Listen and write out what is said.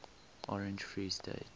orange free state